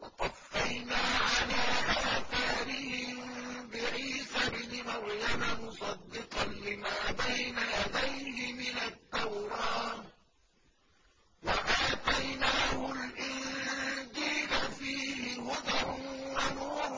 وَقَفَّيْنَا عَلَىٰ آثَارِهِم بِعِيسَى ابْنِ مَرْيَمَ مُصَدِّقًا لِّمَا بَيْنَ يَدَيْهِ مِنَ التَّوْرَاةِ ۖ وَآتَيْنَاهُ الْإِنجِيلَ فِيهِ هُدًى وَنُورٌ